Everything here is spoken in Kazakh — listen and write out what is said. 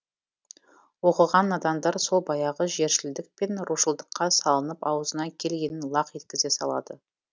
оқыған надандар сол баяғы жершілдік пен рушылдыққа салынып аузына келгенін лақ еткізе салады